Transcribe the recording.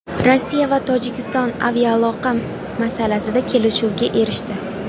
Rossiya va Tojikiston aviaaloqa masalasida kelishuvga erishdi.